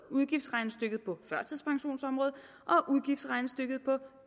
udgiftsregnestykket på førtidspensionsområdet og udgiftsregnestykket på